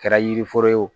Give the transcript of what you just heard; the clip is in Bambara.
Kɛra yiri foro ye o